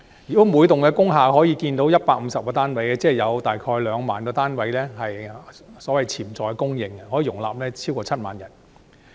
如果每幢工廈可建150個單位，即有大概2萬個單位的潛在供應，可以容納超過7萬人。